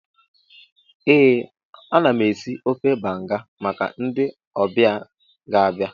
Ee, ana m esi ofe banga maka ndị ọbịa ga-abịa